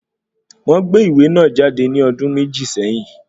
Wọ́n gbé ìwé náà jáde ní ọdún méjì sẹ́yìn